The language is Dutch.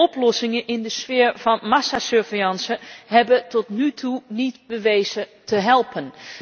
Oplossingen in de sfeer van massasurveillance hebben tot nu toe niet bewezen te helpen.